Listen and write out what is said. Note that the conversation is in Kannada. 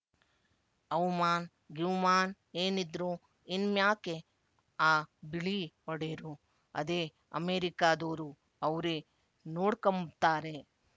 ಅವ್‍ಮಾನ್ ಗಿವ್‍ಮಾನ್ ಏನಿದ್ರು ಇನ್‍ಮ್ಯಾಕೆ ಆ ಬಿಳೀ ಒಡೇರು ಅದೇ ಅಮೆರಿಕಾದೋರು ಅವ್ರೇ ನೋಡ್ಕಂಬ್ತಾರೆ